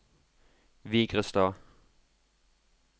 Vigrestad